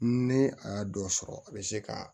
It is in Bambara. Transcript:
Ne a y'a dɔ sɔrɔ a bɛ se ka